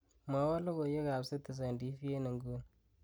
mwowon logoiwek ab citizen t.v en inguni